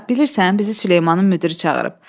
Ana, bilirsən, bizi Süleymanın müdiri çağırıb.